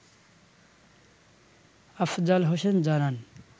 আফজাল হোসেন জানান